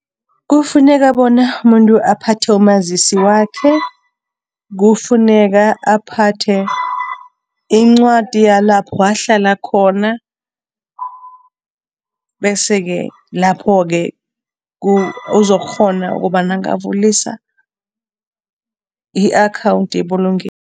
Kufuneka bona umuntu aphathe umazisi wakhe, kufuneka aphathe incwadi yalapho ahlala khona bese ke lapho-ke uzokukghona ukobana angavulisa i -akhawundi yebulungelo.